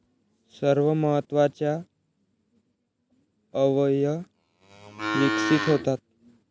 सर्व महत्वाच्या अवयय विकसित होतात.